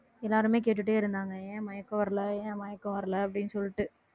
ஆஹ் எல்லாருமே கேட்டுட்டே இருந்தாங்க ஏன் மயக்கம் வரலை ஏன் மயக்கம் வரலை அப்படின்னு சொல்லிட்டு